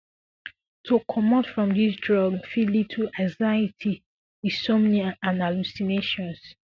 to comot from dis drug fi lead to anxiety insomnia and hallucinations